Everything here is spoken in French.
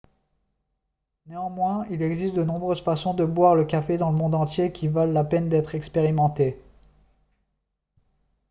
néanmoins il existe de nombreuses façons de boire le café dans le monde entier qui valent la peine d'être expérimentées